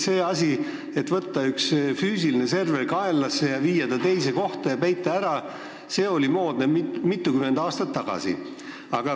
See asi, et võtta üks füüsiline server kaenlasse, viia ta teise kohta ja peita ära, oli moodne mitukümmend aastat tagasi.